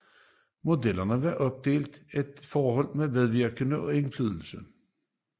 Modellen er opdelt i forhold til medvirken og indflydelse